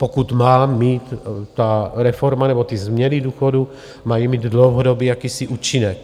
Pokud má mít ta reforma, nebo ty změny důchodů mají mít dlouhodobý jakýsi účinek.